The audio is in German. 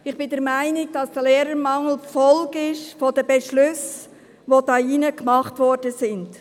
Ich bin der Meinung, dass der Lehrermangel die Folge der Beschlüsse ist, die hier im Ratssaal getroffen wurden.